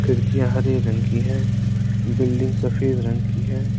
खिड़कियां हरे रंग की है बिल्डिंग सफेद रंग की है।